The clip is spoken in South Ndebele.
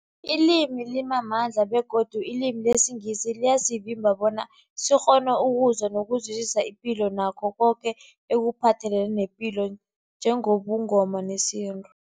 Ilimi limamandla begodu ilimi lesiNgisi liyasivimba bona sikghone ukuzwa nokuzwisisa ipilo nakho koke ekuphathelene nepilo njengobuNgoma nesintu.